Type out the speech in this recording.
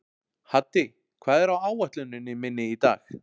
Haddi, hvað er á áætluninni minni í dag?